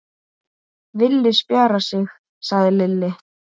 Villi spjarar sig, sagði Lilli.